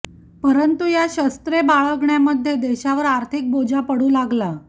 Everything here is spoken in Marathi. परंतु या शस्त्रे बाळगण्यामध्ये देशावर आर्थिक बोजा पडू लागला